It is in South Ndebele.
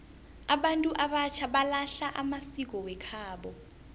abantu abatjha balahla amasiko wekhabo